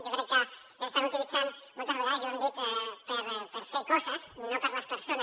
jo crec que s’estan utilitzant moltes vegades i ho hem dit per fer coses i no per a les persones